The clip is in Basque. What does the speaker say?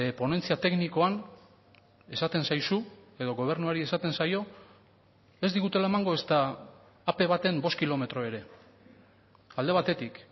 ponentzia teknikoan esaten zaizu edo gobernuari esaten zaio ez digutela emango ezta a pe baten bost kilometro ere alde batetik